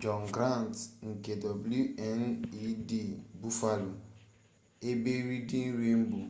john grant nke wned buffaloebe reading rainbow